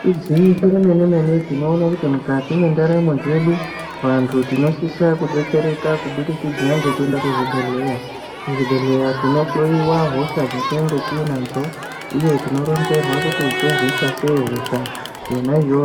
Igwinyiso remene mine tinoona kuti mukati mwendaramo dzedu antu tinosisa kudetsereka kubudikidza ngekuenda kuzvibhedhlera, kuzvibhedhlera tinohloyiwa hosha dzatinenge tinadzo uye tinoronzerwa kuti torwisa seyi hosha yona iyoyo.